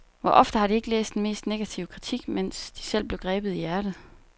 Hvor ofte har de ikke læst den mest negative kritik, mens de selv blev grebet i hjertet.